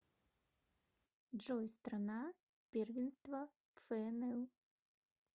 джой страна первенство фнл